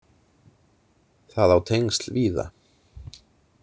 Það á tengsl víða.